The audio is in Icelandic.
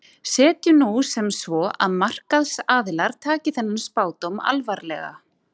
Setjum nú sem svo að markaðsaðilar taki þennan spádóm alvarlega.